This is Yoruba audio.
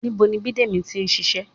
Ibo ni Bidemi ti ń ṣiṣẹ́?